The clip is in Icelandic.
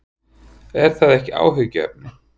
Er það ekki áhyggjuefni?